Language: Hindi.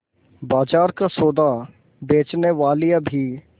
बाजार का सौदा बेचनेवालियॉँ भी